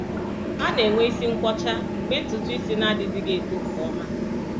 A na-enwe isi nkwọcha mgbe ntutu isi na-adịghịzi eto nke ọma.